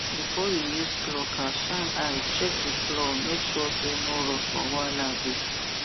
before you use plucker shine eye check the clawmake sure say no rust or wahala dey